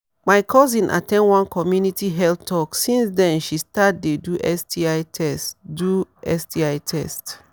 my cousin at ten d one community health talk since then she start dey do sti test do sti test